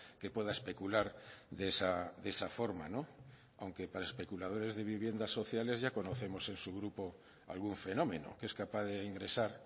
que pueda especular de esa forma aunque para especuladores de viviendas sociales ya conocemos en su grupo algún fenómeno que es capaz de ingresar